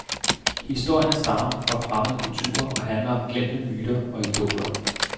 Historierne stammer fra fremmede kulturer og handler om glemte myter og idoler.